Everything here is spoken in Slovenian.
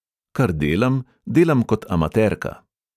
Kar delam, delam kot amaterka.